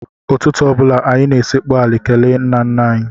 Ụtụtụ ọ bụla, anyị na-esekpu ala kelee nnanna anyị.